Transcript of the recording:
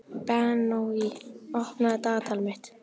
Benoný, opnaðu dagatalið mitt.